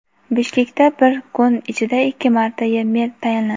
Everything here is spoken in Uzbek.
Bishkekda bir kun ichida ikki marta mer tayinlandi.